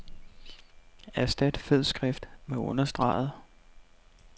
Erstat fed skrift med understreget.